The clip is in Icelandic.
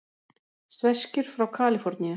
Sveskjur frá Kaliforníu.